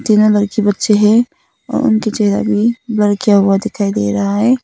तीनों लड़की बच्चे हैं और उनके चेहरा भी ब्लर किया हुआ दिखाई दे रहा है।